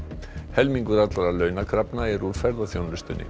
helmingur allra launakrafna er úr ferðaþjónustunni